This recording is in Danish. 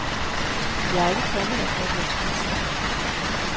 Jeg er ikke kommet her for at være turist.